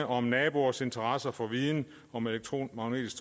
om naboers interesse for viden om elektromagnetisk